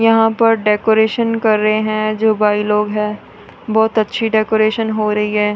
यहां पर डेकोरेशन कर रहे हैं जो भाई लोग हैं बहुत अच्छी डेकोरेशन हो रही है।